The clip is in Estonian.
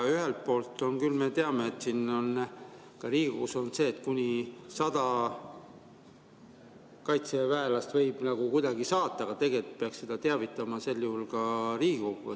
Ühelt poolt on, nagu me teame, ka Riigikogus olnud see, et kuni 100 kaitseväelast võib kuidagi saata, aga tegelikult peaks teavitama ka sel juhul Riigikogu.